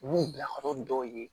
U b'u bila yɔrɔ dɔw ye